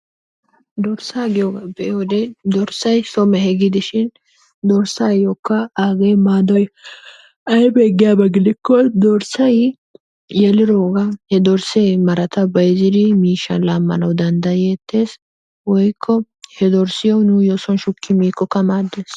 Dorssaa giyogaa be'iyode dorssay so mehe gidishin dorssaayyokka aagee maadoy aybee giyaba gidikko dorssay I yeliroogaa he dorssee marata bayzziri miishshaa laammana danddayeettees woykko he dorssiyo nuuyyo son shukki miikkokka maaddees.